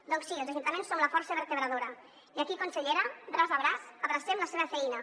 doncs sí els ajuntaments som la força vertebradora i aquí consellera braç a braç abracem la seva feina